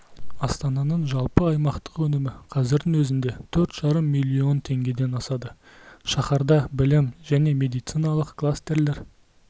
астананың жалпы аймақтық өнімі қазірдің өзінде төрт жарым миллион теңгеден асады шаһарда білім және медициналық кластерлер